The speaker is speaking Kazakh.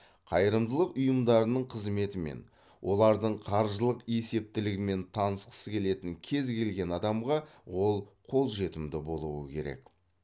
қайырымдылық ұйымдарының қызметімен олардың қаржылық есептілігімен танысқысы келетін кез келген адамға ол қолжетімді болуы керек